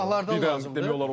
Cinahlardan lazım idi.